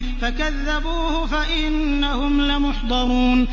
فَكَذَّبُوهُ فَإِنَّهُمْ لَمُحْضَرُونَ